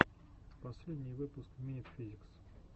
последний выпуск минит физикс